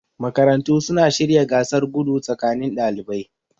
Makarantu suna shirya gasar gudu tsakanin dalibai